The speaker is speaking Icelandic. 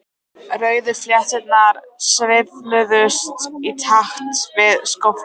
Rauðu flétturnar sveifluðust í takt við skófluna.